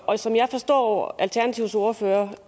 og som jeg forstår alternativets ordfører